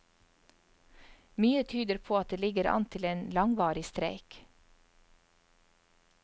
Mye tyder på at det ligger an til en langvarig streik.